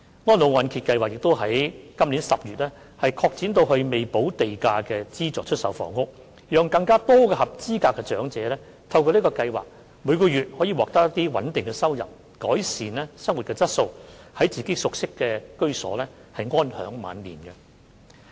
安老按揭計劃於本年10月擴展至未補地價的資助出售房屋，讓更多合資格的長者透過該計劃，每月獲得穩定收入，改善生活質素，在自己熟悉的居所安享晚年。